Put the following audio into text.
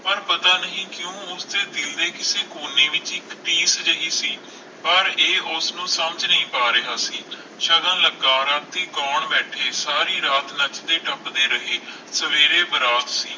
ਪਰ ਪਤਾ ਨਹੀਂ ਕਿਊ ਉਸ ਦੇ ਦਿਲ ਦੇ ਕਿਸੇ ਕੋਨੇ ਵਿਚ ਕੋਈ ਠੇਸ ਜਿਹੀ ਸੀ ਪਰ ਇਹ ਉਸਨੂੰ ਨੂੰ ਸਮਜ ਨਹੀਂ ਪਾ ਰਿਹਾ ਸੀ ਸ਼ਗੁਨ ਲਗਾ ਰਾਤੀ ਗੌਣ ਬੈਠੇ ਸਾਰੀ ਰਾਤ ਨੱਚਦੇ ਟੱਪਦੇ ਰਹੇ ਸਵੇਰੇ ਬਰਾਤ ਸੀ